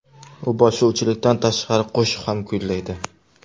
U boshlovchilikdan tashqari qo‘shiq ham kuylaydi.